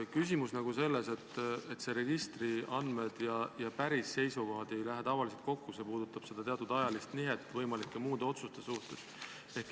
Küsimus on selles, et registriandmed ja päris seisukohad ei lähe tavaliselt kokku, see puudutab teatud ajalist nihet võimalike muude otsuste suhtes.